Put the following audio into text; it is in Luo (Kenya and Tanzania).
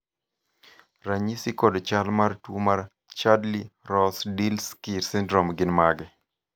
ranyisi kod chal mar tuo mar Chudley Rozdilsky syndrome gin mage?